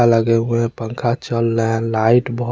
अगल हुए पखा चल रहा है लाइट बोहो--